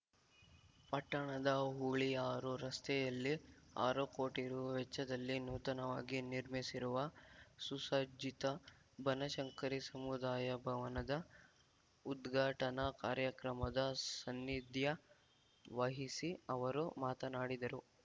ಪಟ್ಟಣದ ಹುಳಿಯಾರು ರಸ್ತೆಯಲ್ಲಿ ಆರು ಕೋಟಿ ರು ವೆಚ್ಚದಲ್ಲಿ ನೂತನವಾಗಿ ನಿರ್ಮಿಸಿರುವ ಸುಸಜ್ಜಿತ ಬನಶಂಕರಿ ಸಮುದಾಯ ಭವನದ ಉದ್ಘಾಟನಾ ಕಾರ್ಯಕ್ರಮದ ಸನ್ನಿಧ್ಯ ವಹಿಸಿ ಅವರು ಮಾತನಾಡಿದರು